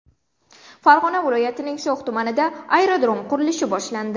Farg‘ona viloyatining So‘x tumanida aerodrom qurilishi boshlandi.